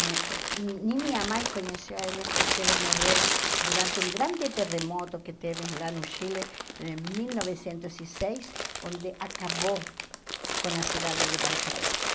Ne nem minha mãe conhecia eles porque eles morreram durante um grande terremoto que teve lá no Chile em mil novecentos e seis, onde acabou com a cidade de Valparaíso.